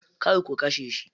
Kar ku kashe shi.